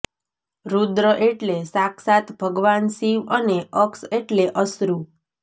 રૂદ્ર એટલે સાક્ષાત ભગવાન શિવ અને અક્ષ એટલે અશ્રુ